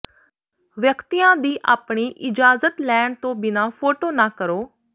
ਵਿਅਕਤੀਆਂ ਦੀ ਆਪਣੀ ਇਜਾਜ਼ਤ ਲੈਣ ਤੋਂ ਬਿਨਾਂ ਫੋਟੋ ਨਾ ਕਰੋ